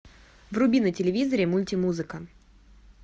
вруби на телевизоре мультимузыка